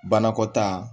Banakɔtaa